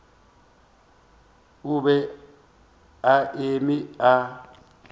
o be a eme a